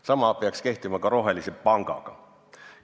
Sama peaks kehtima ka rohelise panga puhul.